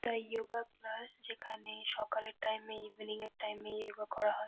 তাই yoga class যেখানে সকালের টাইম এ ইভিনিং এর টাইম এ ইয়গা করা হয়।